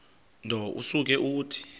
nto usuke uthi